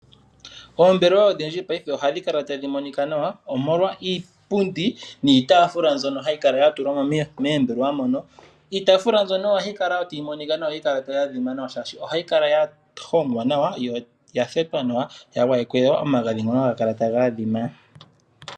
Oombelewa odhindji paife ohadhi kala tadhi monika nawa, omolwa iipundi, niitaafula mbyono hayi kala ya tulwa mo moombelewa mono. Iitaafula mbyono ohayi kala wo tayi monika nawa, hayi kala tayi adhima nawa, yo oya hongwa nawa, noya thetwa nawa, ya gwayekwa omagadhi ngono haga kala taga adhima.